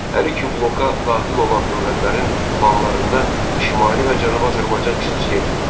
Hər iki bloka daxil olan dövlətlərin planlarında Şimali və Cənubi Azərbaycan xüsusi yer tuturdu.